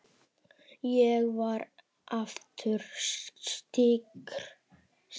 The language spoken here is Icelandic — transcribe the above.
Ég verð aftur styrk.